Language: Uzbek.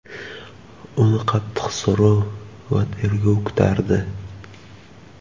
Uni qattiq so‘roq va tergov kutardi.